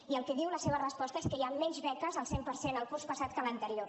i el que diu la seva resposta és que hi ha menys beques al cent per cent el curs passat que l’anterior